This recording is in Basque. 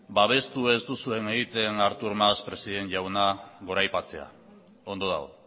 babestu ez duzuena egiten artur mas presidente jauna goraipatzea ondo dago